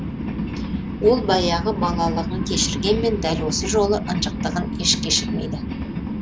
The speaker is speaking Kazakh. ол баяғы балалығын кешіргенмен дәл осы жолғы ынжықтығын еш кешірмейді